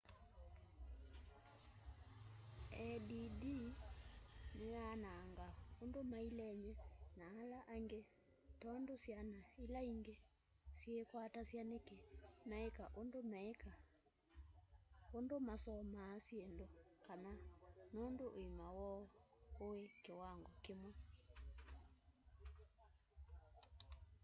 add ni yanangaa undu mailenie na ala angi tondu syana ila angi syiikwatasya niki meika undu meika undu masomaa syindu kana nundu uima woo ui kiwango kimwe